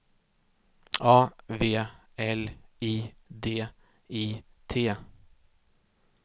A V L I D I T